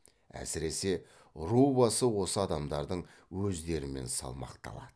әсіресе ру басы осы адамдардың өздерімен салмақталады